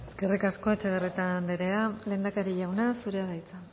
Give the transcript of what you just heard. eskerrik asko etxebarrieta anderea lehendakari jauna zurea da hitza